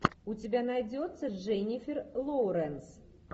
у тебя найдется дженифер лоуренс